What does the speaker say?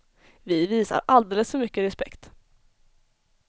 Vi visar alldeles för mycket respekt.